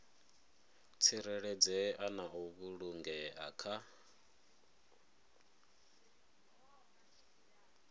tsireledzea na u vhulungea kha